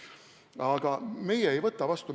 Meie ei võta riigieelarvet vastu.